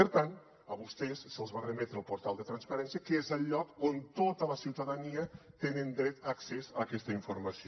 per tant a vostès se’ls va remetre al portal de transparència que és el lloc on tota la ciutadania té dret a accés a aquesta informació